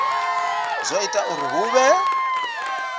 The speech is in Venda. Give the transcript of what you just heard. zwo ita uri hu vhe